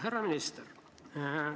Härra minister!